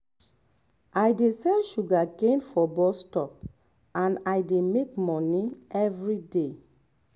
i um dey sell sugarcane um for bus stop and i dey make money um everyday